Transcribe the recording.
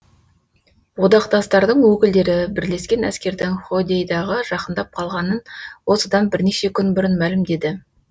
одақтастардың өкілдері бірлескен әскердің ходейдаға жақындап қалғанын осыдан бірнеше күн бұрын мәлімдеді